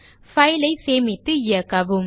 file ஐ சேமித்து இயக்கவும்